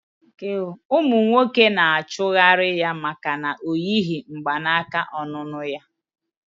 Umu nwoke na achighari ya maka na oyi mgbanaka onunu ya